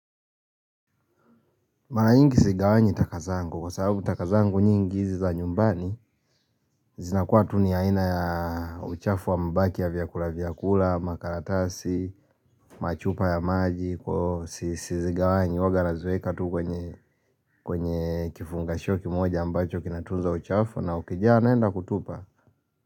Mara nyingi sigawanyi takazangu kwa sababu taka zangu nyingi hizi za nyumbani zinakua tuni ya ina ya uchafu wa mbaki ya vyakula vyakula, makaratasi, machupa ya maji Kwa sisi sigawanyi waga nazweka tu kwenye kifungashoki moja ambacho kinatunza uchafu na ukijia anenda kutupa.